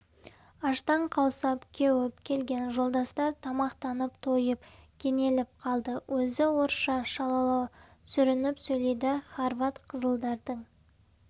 аштан қаусап кеуіп келген жолдастар тамақтанып тойып кенеліп қалды өзі орысша шалалау сүрініп сөйлейді хорват қызылдардың